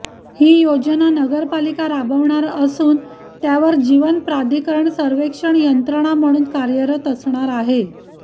ही योजना नगरपालिका राबवणार असून त्यावर जीवनप्राधिकरण सर्वेक्षण यंत्रणा म्हणून कार्यरत असणार आहे